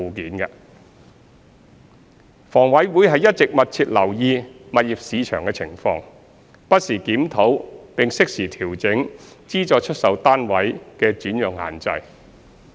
二及三房委會一直密切留意物業市場的情況，不時檢討並適時調整資助出售單位的轉讓限制。